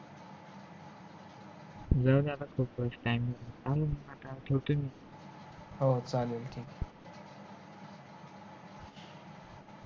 हो चालेल कि